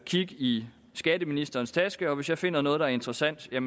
kigge i skatteministerens taske hvis jeg finder noget der er interessant er